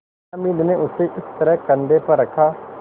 हामिद ने उसे इस तरह कंधे पर रखा